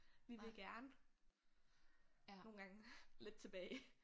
Vi vil gerne nogle gange lidt tilbage